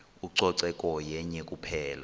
ucoceko yenye kuphela